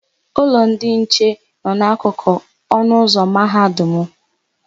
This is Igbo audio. Ụlọ ndị nche nọ n'akụkụ ọnụụzọ ámá Mahadum mụ.